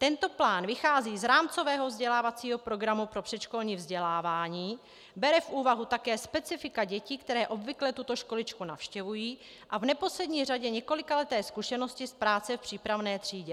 Tento plán vychází z rámcového vzdělávacího programu pro předškolní vzdělávání, bere v úvahu také specifika dětí, které obvykle tuto školičku navštěvují, a v neposlední řadě několikaleté zkušenosti z práce v přípravné třídě.